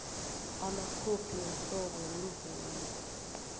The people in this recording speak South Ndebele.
amakhophi womhlobo wemvumo